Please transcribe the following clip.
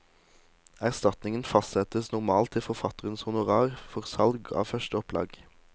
Erstatningen fastsettes normalt til forfatterens honorar for salg av første opplag.